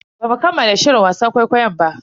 Bamu kammala shirin wasan ƙwaiƙwayon ba.